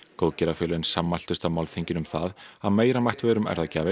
góðgerðafélögin sammæltust á málþinginu um það að meira mætti vera um